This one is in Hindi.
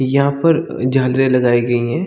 यहाँ पर अ झरने लगाई गई है।